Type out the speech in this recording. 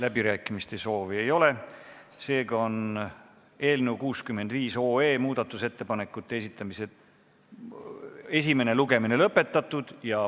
Läbirääkimiste soovi ei ole, seega on eelnõu 65 esimene lugemine lõpetatud.